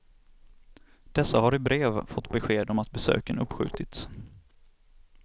Dessa har i brev fått besked om att besöken uppskjutits.